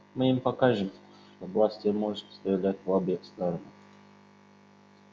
мы им покажем что бластер может стрелять в обе стороны